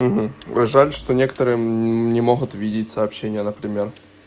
жаль что некоторые не могут видеть сообщения например